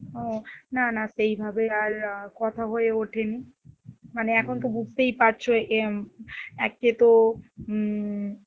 ও না না সেই ভাবে আর কথা হয়ে ওঠেনি, মানে এখন তো বুজতেই পারছ একে তো উম